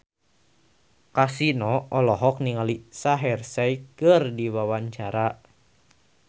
Kasino olohok ningali Shaheer Sheikh keur diwawancara